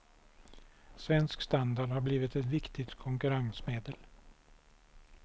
Svensk standard har blivit ett viktigt konkurrensmedel.